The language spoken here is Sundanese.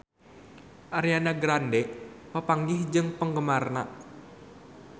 Ariana Grande papanggih jeung penggemarna